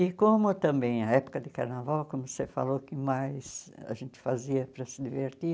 E como também a época de carnaval, como você falou, que mais a gente fazia para se divertir,